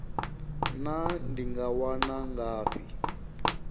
naa ndi nga wana ngafhi